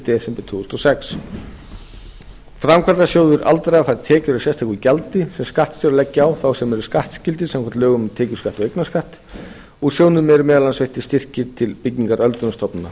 desember tvö þúsund og sex framkvæmdasjóður aldraðra fær tekjur af sérstöku gjaldi sem skattstjórar leggja á þá sem eru skattskyldir samkvæmt lögum um tekjuskatt og eignarskatt úr sjóðnum eru meðal annars veittir styrkir til byggingar öldrunarstofnana